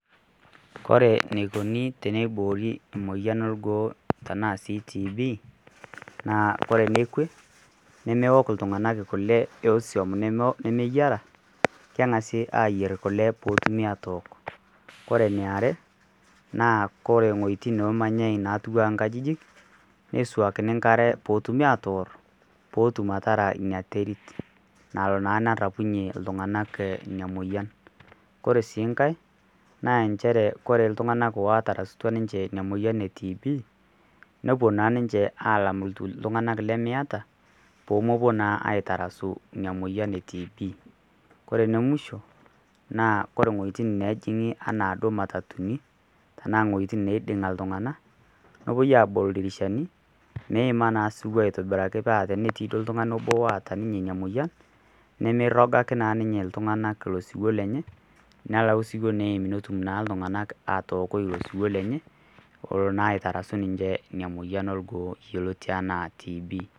Kore neikoni teneiboori emoyian orgoo trnaa sii TB naa kore nekwe nemeok ltunganak ekulee esiom nemeyara, kengasi aayer kule peetumi atook, kore neare naa kore wejitin neemanyaei natuwaa nkajijik neisuakini inkare peetumi atoorr peetum atara interit nalo naaa nerapunye ltunganak ina moyian, kore sii inkae naa inchere kore ltunganak ootarasutwa niche ina moyian eTb ne[o naa ninche alam ltunganak lemeata peemepo naa aotarasu ina moyian e TB kore ne mushoo naa kore wejitin naajing'i anaa duo matatuni anaa wejitin naiding'a ltungana nepoi aabol ldirishani meima naa suwoo aitibiraki paa tenetii duo ltungani obo oota ninye ina moyian nemeirogaki naaa ninye ltungana io siwuo lenye, nelau siwuo neimm netum naa ltunganak atookoi ilo siwuo lenye elo naa aitarasu ninche ina emoyian orgoo yeloti anaa TB.